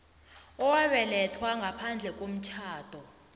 owabelethelwa ngaphandle komtjhado